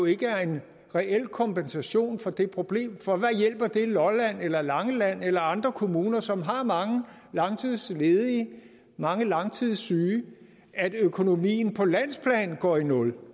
ikke er en reel kompensation for det problem for hvad hjælper det lolland eller langeland kommune eller andre kommuner som har mange langtidsledige mange langtidssyge at økonomien på landsplan går i nul